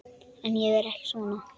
En ég er ekki svona.